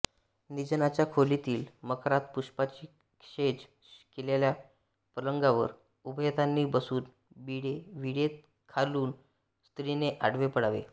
निजण्याच्या खोलीतील मखरात पुष्पाची शेज केलेल्या पलंगावर उभयतांनी बसून विडे खाऊन स्त्रीने आडवे पडावे